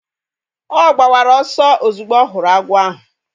Ọ gbawara ọsọ ozugbo ọ hụrụ agwọ ahụ